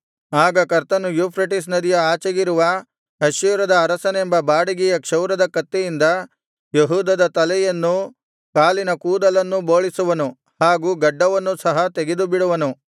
ಆಗ ಕರ್ತನು ಯೂಫ್ರೆಟಿಸ್ ನದಿಯ ಆಚೆಗಿರುವ ಅಶ್ಶೂರದ ಅರಸನೆಂಬ ಬಾಡಿಗೆಯ ಕ್ಷೌರದ ಕತ್ತಿಯಿಂದ ಯೆಹೂದದ ತಲೆಯನ್ನೂ ಕಾಲಿನ ಕೂದಲನ್ನೂ ಬೋಳಿಸುವನು ಹಾಗೂ ಗಡ್ಡವನ್ನೂ ಸಹ ತೆಗೆದುಬಿಡುವನು